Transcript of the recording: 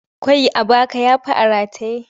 Ƙwai a baka ya fi a rataye.